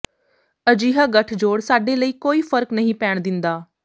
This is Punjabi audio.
ਅਜਿਹਾ ਗੱਠਜੋੜ ਸਾਡੇ ਲਈ ਕੋਈ ਫਰਕ ਨਹੀਂ ਪੈਣ ਦਿੰਦਾ